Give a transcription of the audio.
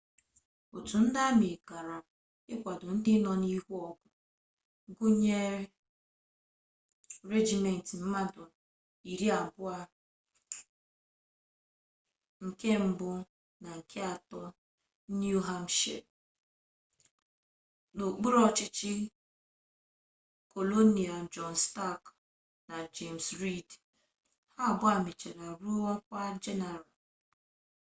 otu ndị amị gara ikwado ndị nọ n'ihu agha gụnyere regiment mmadụ 200 nke mbụ na nke atọ niu hampshire n'okpuru ọchịchị kolonel jọn stak na jems riid ha abụọ mechara ruo ọkwa jeneral